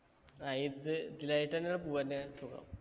ആ ഇത് ഇതിലായിട്ടഞ്ഞെയാണ് പോവഞ്ഞെയാ സുഖം